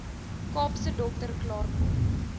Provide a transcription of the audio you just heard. kaapse dokter klaarkom